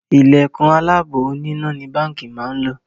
Ìlẹ̀kùn aláàbò oníná ni Báńkì máa ń lò